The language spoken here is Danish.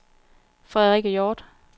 Frederikke Hjorth